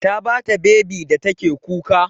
Ta ba ta bebi da take kuka.